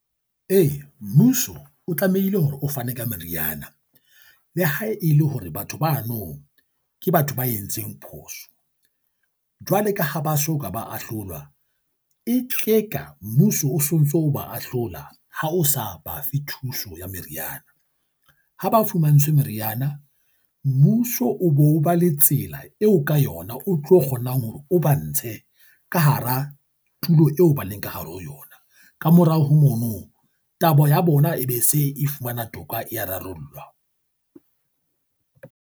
Ee, mmuso o tlamehile hore o fane ka meriana. Le hae e le hore batho bano ke batho ba entseng phoso jwale ka ha ba so ka ba ahlolwa, e tla reka mmuso o so ntso o ba ahlola ha o sa bafe thuso ya meriana. Ha ba fumantshwe meriana, mmuso o bo ba le tsela eo ka yona o tlo kgonang hore o ba ntshe ka hara tulo eo ba leng ka hare ho yona. Kamorao ho mono taba ya bona e be se e fumana toka e a rarollwa.